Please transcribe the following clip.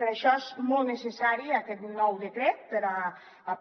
per això és molt necessari aquest nou decret per